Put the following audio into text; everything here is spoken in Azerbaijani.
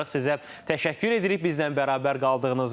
Sizə təşəkkür edirik bizimlə bərabər qaldığınız üçün.